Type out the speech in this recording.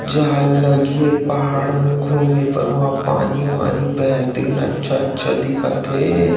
जहल लगी पहाड़ में घूमे बर वहा पानी वानी बेहतरीन अच्छा अच्छा दिखत हे ।